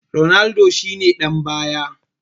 Ronaldo shi ne ɗan baya